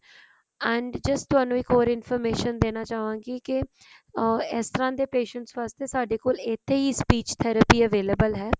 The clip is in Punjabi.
and just ਥੋਨੂੰ ਇਸ ਤਰ੍ਹਾਂ ਦੀ information ਦੇਣਾ ਚਾਹਵਾਂਗੀ ਕੀ ਕੇ ਅਮ ਇਸ ਤਰਾਂ ਦੇ patient ਵਾਸਤੇ ਸਾਡੇ ਕੋਲ ਇੱਥੇ ਹੀ speech therapy available ਹੈ